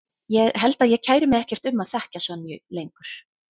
Ég held að ég kæri mig ekkert um að þekkja Sonju lengur.